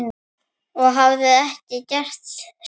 Og hafa ekki gert síðan.